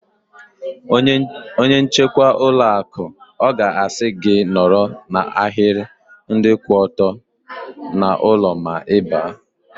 Onye nchekwa ụlọ akụ ọ ga-asị gị nọrọ n'ahiri ndị kwụ ọtọ n'ụlọ ma Ị baa?